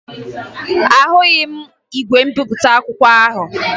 Ahụghị m igwe mbipụta akwụkwọ ahụ